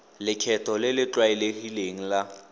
lekgetho le le tlwaelegileng la